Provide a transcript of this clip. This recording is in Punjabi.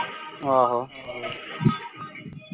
ਆਹੋ